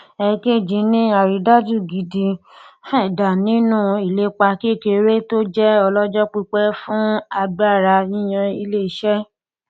èkejì ni àrídájú gidi feda nínú ìlépa kékeré tó jẹ ọlọjọ pípẹ fún agbára yíyan iléiṣẹ